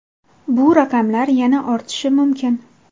Bu raqamlar yana ortishi mumkin.